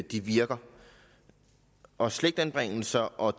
de virker også slægtsanbringelser og